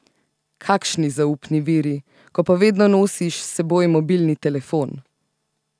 Kakšni zaupni viri, ko pa vedno nosiš s seboj mobilni telefon!